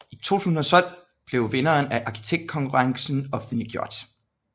I 2012 blev vinderen af arkitektkonkurrence offentliggjort